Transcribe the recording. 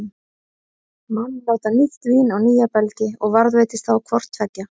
Menn láta nýtt vín á nýja belgi, og varðveitist þá hvort tveggja.